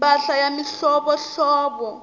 mpahla ya mihlovohlovo